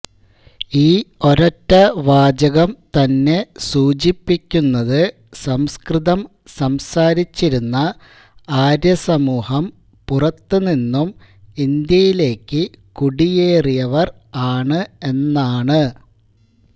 ഈ ഒരൊറ്റ വാചകം തന്നെ സൂചിപ്പിക്കുന്നത് സംസ്കൃതം സംസാരിച്ചിരുന്ന ആര്യസമൂഹം പുറത്തുനിന്നും ഇന്ത്യയിലേക്ക് കുടിയേറിയവര് ആണ് എന്നാണ്